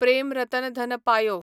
प्रेम रतन धन पायो